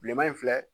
Bilenman in filɛ